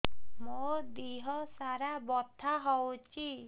ମୋ ଦିହସାରା ବଥା ହଉଚି